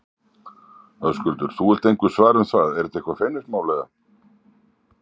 Höskuldur: Þú vilt engu svara um það, er þetta eitthvað feimnismál, eða?